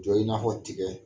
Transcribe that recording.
Jɔ i n'a fɔ tigɛ.